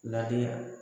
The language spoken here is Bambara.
Ladi